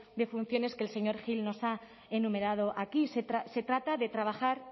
de funciones que el señor gil nos ha enumerado aquí se trata de trabajar